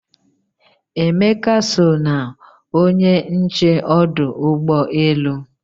Emeka so na onye nche ọdụ ụgbọ elu